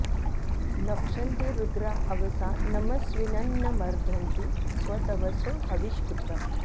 नक्ष॑न्ति रु॒द्रा अव॑सा नम॒स्विनं॒ न म॑र्धन्ति॒ स्वत॑वसो हवि॒ष्कृत॑म्